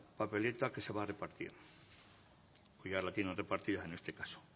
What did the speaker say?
papeleta que se va a repartir o ya la tienen repartida en este caso